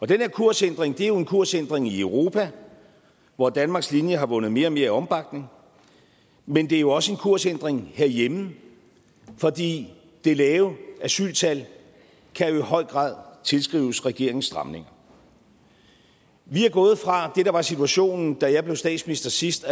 den her kursændring er jo en kursændring i europa hvor danmarks linje har vundet mere og mere opbakning men det er også en kursændring herhjemme fordi det lave asyltal i høj grad tilskrives regeringens stramning vi er gået fra det der var situationen da jeg blev statsminister sidst